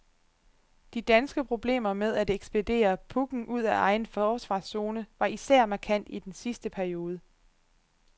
De danske problemer med at ekspedere pucken ud af egen forsvarszone var især markant i den sidste periode.